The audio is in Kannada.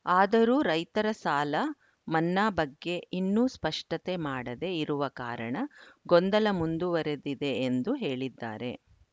ಆದರೂ ರೈತರ ಸಾಲ ಮನ್ನಾ ಬಗ್ಗೆ ಇನ್ನೂ ಸ್ಪಷ್ಟತೆ ಮಾಡದೇ ಇರುವ ಕಾರಣ ಗೊಂದಲ ಮುಂದುವರೆದಿದೆ ಎಂದು ಹೇಳಿದ್ದಾರೆ